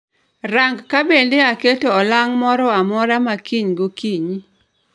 Rang kabende aketo olang' moro amora makiny gokinyi